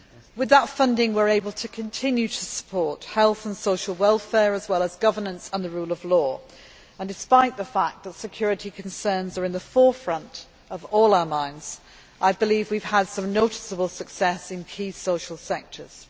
With that funding we are able to continue to support health and social welfare as well as governance and the rule of law, and despite the fact that security concerns are in the forefront of all our minds, I believe we have had some noticeable success in key social sectors.